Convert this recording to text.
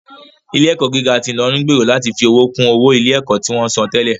Ilé ẹ̀kọ́ gíga ti Ilorin ń gbèrò láti fi owó kún owó ilé ẹ̀kọ́ tí wọ́n ń san tẹ́lẹ̀